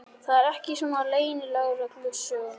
Það er ekki svona í leynilögreglusögum.